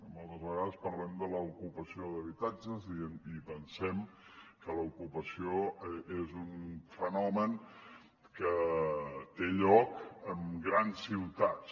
moltes vegades parlem de l’ocupació d’habitatges i pensem que l’ocupació és un fenomen què té lloc en grans ciutats